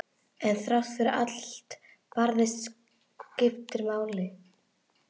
En þrátt fyrir allt barðist skipið áfram.